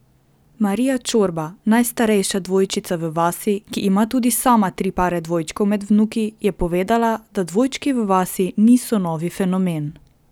Marija Čorba, najstarejša dvojčica v vasi, ki ima tudi sama tri pare dvojčkov med vnuki, je povedala, da dvojčki v vasi niso novi fenomen.